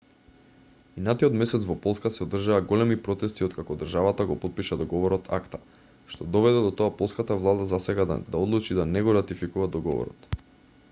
минатиот месец во полска се одржаа големи протести откако државата го потпиша договорот акта што доведе до тоа полската влада засега да одлучи да не го ратификува договорот